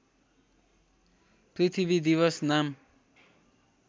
पृथ्वी दिवस नाम